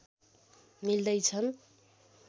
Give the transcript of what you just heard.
मिल्दै छन्